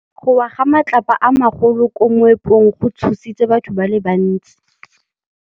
Go wa ga matlapa a magolo ko moepong go tshositse batho ba le bantsi.